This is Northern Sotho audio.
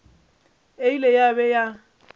e ile ya be ya